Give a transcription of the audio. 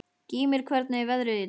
Gýmir, hvernig er veðrið í dag?